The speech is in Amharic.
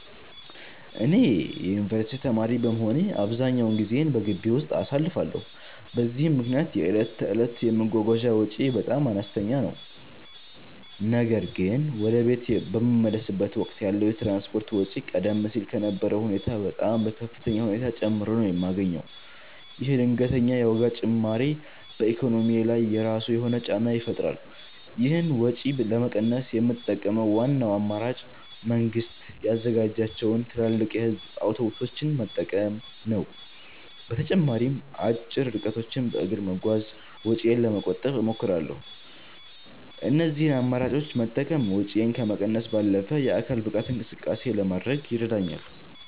እኔ የዩኒቨርሲቲ ተማሪ በመሆኔ አብዛኛውን ጊዜዬን በግቢ ውስጥ አሳልፋለሁ፤ በዚህም ምክንያት የዕለት ተዕለት የመጓጓዣ ወጪዬ በጣም አነስተኛ ነው። ነገር ግን ወደ ቤት በምመለስበት ወቅት ያለው የትራንስፖርት ወጪ ቀደም ሲል ከነበረው ሁኔታ በጣም በከፍተኛ ሁኔታ ጨምሮ ነው የማገኘው። ይህ ድንገተኛ የዋጋ ጭማሪ በኢኮኖሚዬ ላይ የራሱ የሆነ ጫና ይፈጥራል። ይህንን ወጪ ለመቀነስ የምጠቀመው ዋናው አማራጭ መንግስት ያዘጋጃቸውን ትላልቅ የህዝብ አውቶቡሶች መጠቀም ነው። በተጨማሪም አጭር ርቀቶችን በእግር በመጓዝ ወጪዬን ለመቆጠብ እሞክራለሁ። እነዚህን አማራጮች መጠቀም ወጪን ከመቀነስ ባለፈ የአካል ብቃት እንቅስቃሴ ለማድረግም ይረዳኛል።